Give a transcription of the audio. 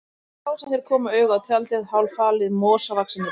Það var þá sem þeir komu auga á tjaldið, hálffalið í mosavaxinni dæld.